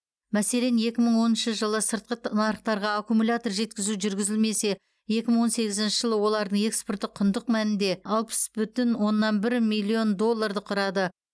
мәселен екі мың оныншы жылы сыртқыт нарықтарға аккумуляторлар жеткізу жүргізілимесе екі мың он сегізінші жылы олардың экспорты құндық мәнінде алпыс бүтін оннан бір миллион долларды құрады